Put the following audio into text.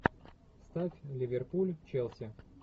ставь ливерпуль челси